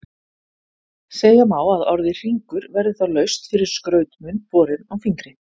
Segja má að orðið hringur verði þá laust fyrir skrautmun borinn á fingri.